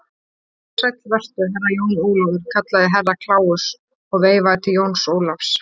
Sæll vertu, Herra Jón Ólafur, kallaði Herra Kláus og veifaði til Jóns Ólafs.